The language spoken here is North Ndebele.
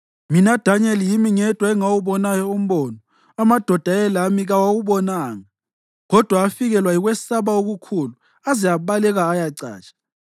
Mina Danyeli, yimi ngedwa engawubonayo umbono; amadoda ayelami kawubonanga, kodwa afikelwa yikwesaba okukhulu aze abaleka ayacatsha.